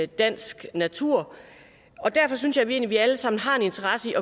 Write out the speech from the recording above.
dansk natur derfor synes jeg egentlig at vi alle sammen har en interesse i